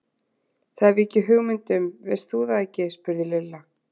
Það hef ég ekki hugmynd um, veist þú það ekki? spurði Lilla.